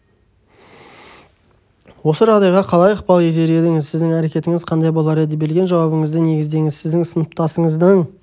осы жағдайға қалай ықпал етер едіңіз сіздің әрекетіңіз қандай болар еді берген жауабыңызды негіздеңіз сіздің сыныптасыңыздың